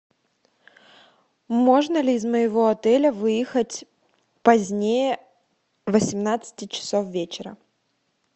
можно ли из моего отеля выехать позднее восемнадцати часов вечера